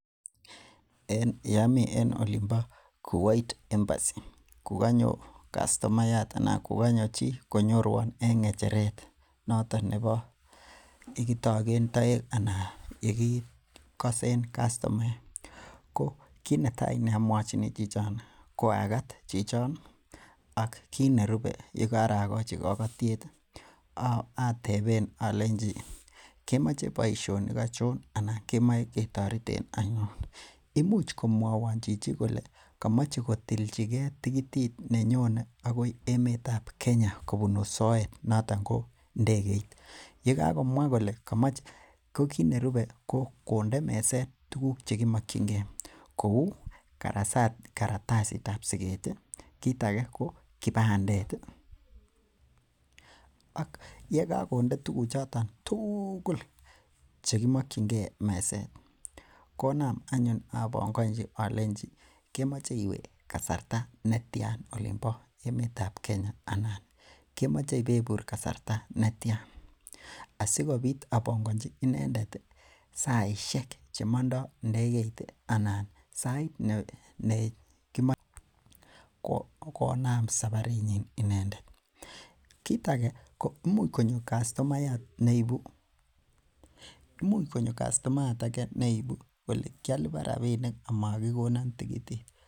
En yeami en olimbo Kuwait embassy kokanyo kastomayat anan ko kanyo chi konyoruan en ng'echeret noton nebo yekitogen toek anan yoton yekikasen kastomaek, ko kit netai neamwochini chichon koagat chichon ak kit nerube yekarogachi kokotiet ih ateben alenji akemoche boisionik achon anan akemoche ketoretiten ano. Imuch komwaewon chichi kole kamache kotilchige tikitit anan komache tikitit nenyone akoi emetab Kenya kobunu soet noton ko indegeit . Ko kit nerube ko konde meset tuguk chekimokiange kouu kartasitab siket ih , kit age ko kibandet ih ak yekakonde tuguk choton tugul chekimokiennge, en meset konam anyun ebangonchi akemoche iwe kasarta netian olombo emeetab Kenya anan akemoche ibebir kasarta netian asikobit abongoji inendet kasishek chetertere sait neinomen saparit nyin inendet. Kit age ko imuch konyor kastomayat neibu konyo kole kisluban rabisiek amogikonan tikitit.